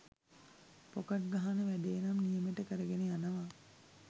Pocket ගහන වැඩේ නම් නියමෙට කරගෙන යනව.